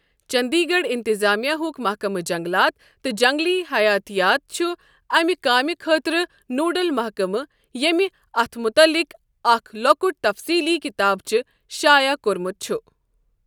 چٔنٛدی گَڑھ اِنتِظامیہ ہُك مَحکمٕہ جنٛگلات تہٕ جنٛگلی حَیٲتیات چُھ اَمہِ کامہِ خٲطرٕ نوڈل محکمہٕ، ییٚمہِ اَتھ مُتعلِق اَکھ لۄکُٹ تفصیٖلی کِتابچہِ شایع كورمُت چُھ ۔